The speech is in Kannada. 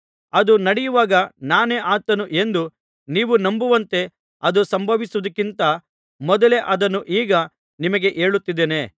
ಅದು ನಡೆಯುವಾಗ ನಾನೇ ಆತನು ಎಂದು ನೀವು ನಂಬುವಂತೆ ಅದು ಸಂಭವಿಸುವುದಕ್ಕಿಂತ ಮೊದಲೇ ಅದನ್ನು ಈಗ ನಿಮಗೆ ಹೇಳುತ್ತಿದ್ದೇನೆ